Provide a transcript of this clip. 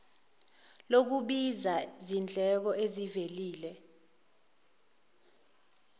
lokubiza zindleko ezivelile